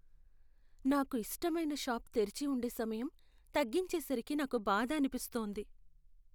నాకు ఇష్టమైన షాపు తెరిచి వుండే సమయం తగ్గించే సరికి నాకు బాధ అనిపిస్తోంది.